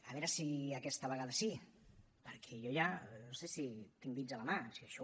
a veure si aquesta vegada sí perquè jo ja no sé si tinc dits a la mà si això